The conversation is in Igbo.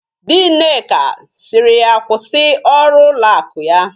Di Nneka siri ya kwusi ọrụ ụlọ akụ ya.!